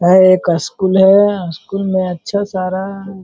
यह एक अस्कूल है अस्कूल में अच्छा सारा --